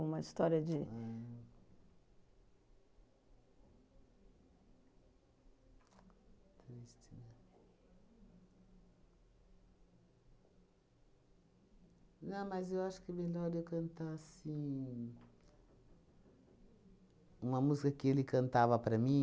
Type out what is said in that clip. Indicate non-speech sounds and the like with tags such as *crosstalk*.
Uma história de... Ah. *unintelligible* Não, mas eu acho que é melhor eu cantar, assim... Uma música que ele cantava para mim,